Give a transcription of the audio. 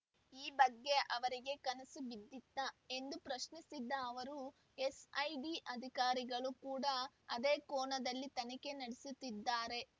ಈ ಬಗ್ಗೆ ಅವರಿಗೆ ಕನಸು ಬಿದ್ದಿತ್ತಾ ಎಂದು ಪ್ರಶ್ನಿಸಿದ ಅವರು ಎಸ್‌ಐಡಿ ಅಧಿಕಾರಗಳು ಕೂಡ ಅದೇ ಕೋನದಲ್ಲಿ ತನಿಖೆ ನಡೆಸುತ್ತಿದ್ದಾರೆ